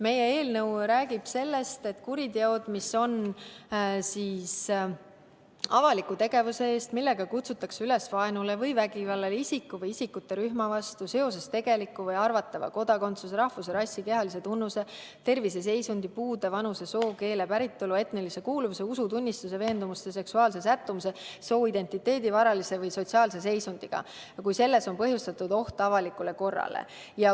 Meie eelnõu räägib avalikest tegudest, millega kutsutakse üles vaenule või vägivallale isiku või isikute rühma vastu seoses tegeliku või arvatava kodakondsuse, rahvuse, rassi, kehalise tunnuse, terviseseisundi, puude, vanuse, soo, keele, päritolu, etnilise kuuluvuse, usutunnistuse, veendumuste, seksuaalse sättumuse, sooidentiteedi või varalise või sotsiaalse seisundiga ning millega on põhjustatud oht avalikule korrale.